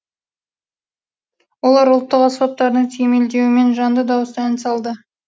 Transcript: олар ұлттық аспаптарының сүйемелдеуімен жанды дауыста ән салды